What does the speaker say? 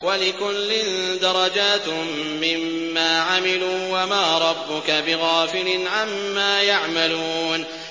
وَلِكُلٍّ دَرَجَاتٌ مِّمَّا عَمِلُوا ۚ وَمَا رَبُّكَ بِغَافِلٍ عَمَّا يَعْمَلُونَ